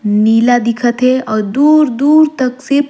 नीला दिखत हे अऊ दूर-दूर तक सिर्फ--